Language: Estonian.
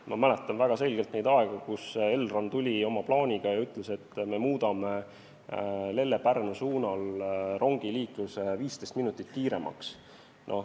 Ma mäletan väga selgelt neid aegu, kui Elron tuli oma plaaniga ja ütles, et me muudame Lelle–Pärnu suunal rongiliikluse 15 minutit kiiremaks.